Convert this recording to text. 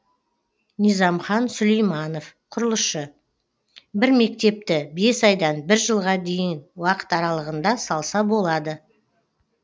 низамхан сүлейманов құрылысшы бір мектепті бес айдан бір жылға дейін уақыт аралығында салса болады